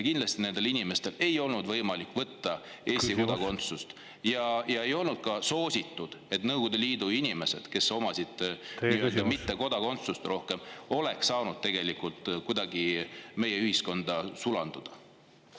Kindlasti nendel inimestel ei olnud võimalik võtta Eesti kodakondsust ja ei olnud ka soositud, et need Nõukogude Liidu inimesed, kel polnud kodakondsust, oleks saanud tegelikult kuidagi meie ühiskonda sulanduda.